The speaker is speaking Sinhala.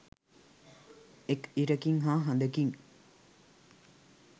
එක් ඉරකින් හා හඳකින්